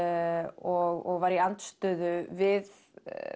og var í andstöðu við